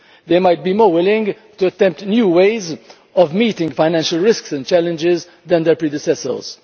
They might be more willing to attempt new ways of meeting financial risks and challenges than their predecessors.